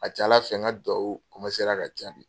A ka ca Ala fɛ n ka duwawu ka jabi.